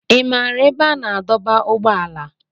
Ị maara ebe a na-adọba ụgbọala?